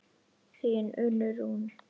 Þín Unnur Rún.